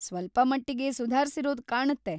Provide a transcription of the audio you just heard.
ಸ್ವಲ್ಪಮಟ್ಟಿಗೆ ಸುಧಾರ್ಸಿರೋದು ಕಾಣತ್ತೆ.